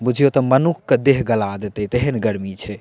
बुझयो त मनुख के देह गला देतइ तेहेन गर्मी छे।